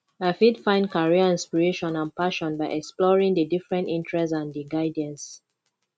i fit find career inspiration and passion by exploring di different interests and di guidance